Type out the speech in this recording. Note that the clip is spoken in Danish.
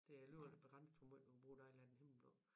Det er alligevel begrænset hvor meget hun bruger dejlig er den himmelblå